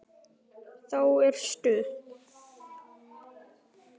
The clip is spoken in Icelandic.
Þá er stuð.